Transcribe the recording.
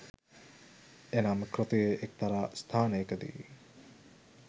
එනම් කෘතියේ එක්තරා ස්ථානයකදී